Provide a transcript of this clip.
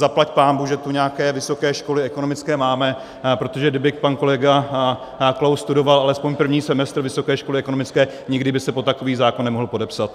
Zaplať pánbůh, že tu nějaké vysoké školy ekonomické máme, protože kdyby pan kolega Klaus studoval alespoň první semestr vysoké školy ekonomické, nikdy by se pod takový zákon nemohl podepsat.